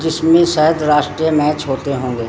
जिसमें शायद राष्ट्रीय मैच होते होंगे।